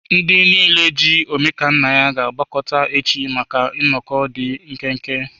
Ndị niile ji Omekannaya ga-agbakọta echi maka nnọkọ dị nkenke.